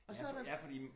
Og så er der